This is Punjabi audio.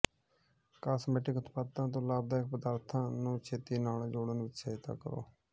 ਕਾਸਮੈਟਿਕ ਉਤਪਾਦਾਂ ਤੋਂ ਲਾਭਦਾਇਕ ਪਦਾਰਥਾਂ ਨੂੰ ਛੇਤੀ ਨਾਲ ਜੋੜਨ ਵਿੱਚ ਸਹਾਇਤਾ ਕਰੋ